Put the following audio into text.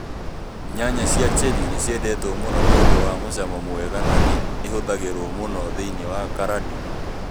Nyanya cia cherĩ nĩ ciendetwo mũno nĩ ũndũ wa mũcamo mũega na nĩ ihũthagĩrũo mũno thĩinĩ wa carandi.